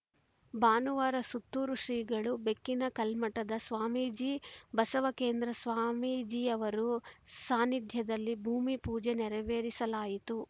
ಭಾನುವಾರ ಸುತ್ತೂರು ಶ್ರೀಗಳು ಬೆಕ್ಕಿನಕಲ್ಮಠದ ಸ್ವಾಮೀಜಿ ಬಸವಕೇಂದ್ರ ಸ್ವಾಮೀಜಿಯವರು ಸಾನ್ನಿಧ್ಯದಲ್ಲಿ ಭೂಮಿ ಪೂಜೆ ನೆರವೇರಿಸಲಾಯಿತು